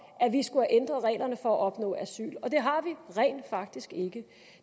at vi skulle have ændret reglerne for at opnå asyl og det har vi rent faktisk ikke